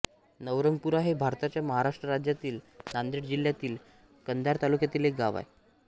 नवरंगपुरा हे भारताच्या महाराष्ट्र राज्यातील नांदेड जिल्ह्यातील कंधार तालुक्यातील एक गाव आहे